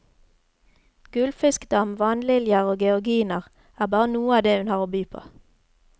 Gullfiskdam, vannliljer og georginer er bare noe av det hun har å by på.